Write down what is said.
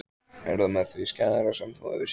Er það með því skæðara sem þú hefur séð?